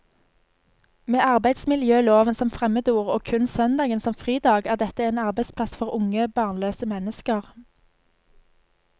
Med arbeidsmiljøloven som fremmedord og kun søndagen som fridag er dette en arbeidsplass for unge, barnløse mennesker.